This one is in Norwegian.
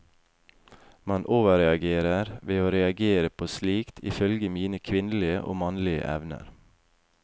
Man overreagerer ved å reagere på slikt, ifølge mine kvinnelige og mannlige venner.